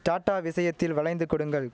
tata விஷயத்தில் வளைந்து கொடுங்கள்